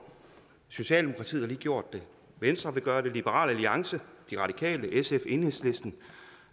socialdemokratiet har lige gjort det venstre vil gøre det liberal alliance de radikale sf enhedslisten